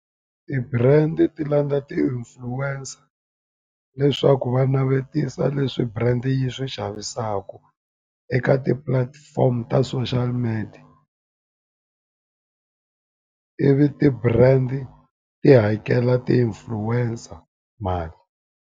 Ti-brand ti landza ti-influencer leswaku va navetisa leswi brand yi swi xavisaka, eka ti-platform ta social media. Ivi ti-brand ti hakela ti-influencer mali.